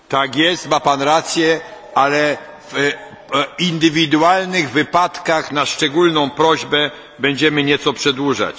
Tak jest, ma pan rację, ale w indywidualnych wypadkach, na szczególną prośbę, będziemy nieco przedłużać.